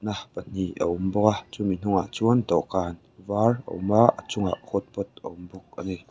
pahnih a awm bawk a chumi hnungah chuan dawhkan var a awm a a chungah hot pot a awm bawk a ni.